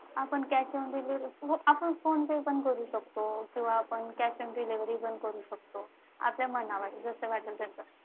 आपण cash on delivery आपण PhonePe करू शकतो. किंवा आपण cash on delivery पण करू शकतो आपल्या मनावर आहे जस वाटेल तस.